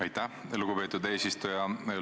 Aitäh, lugupeetud eesistuja!